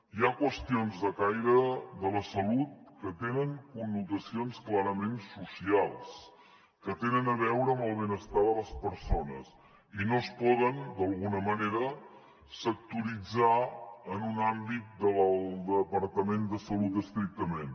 hi ha qüestions de caire de la salut que tenen connotacions clarament socials que tenen a veure amb el benestar de les persones i no es poden sectoritzar en un àmbit del departament de salut estrictament